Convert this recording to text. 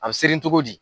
A bɛ seri cogo di